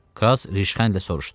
Kras rüşxəndlə soruşdu.